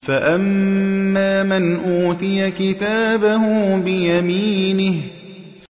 فَأَمَّا مَنْ أُوتِيَ كِتَابَهُ بِيَمِينِهِ